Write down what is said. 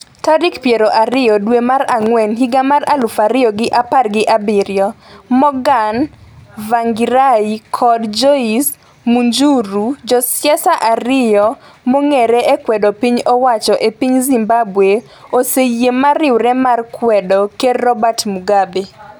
tarik piero ariyo dwe mar ang'wen higa mar aluf ariyo gi apar gi abiriyo , Morgan Tsvangirai kod Joice Mujuru Josiasa ariyo mong'ere e kwedo piny owacho e piny Zimbabwe oseyie mar riwre mar kwedo Ker Robert Mugabe.